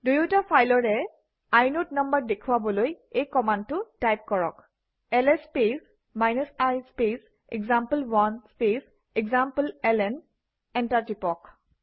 দুয়োটা ফাইলৰে inode number দেখুৱাবলৈ এই কমাণ্ডটো টাইপ কৰক - L S space i space example one space এসামপ্লেলন এণ্টাৰ টিপক